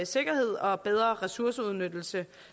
sikkerhed og bedre ressourceudnyttelse